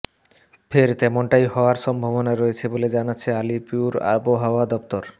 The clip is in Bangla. ফের তেমনটাই হওয়ার সম্ভাবনা রয়েছে বলে জানাচ্ছে আলিপুর আবহাওয়া দফতর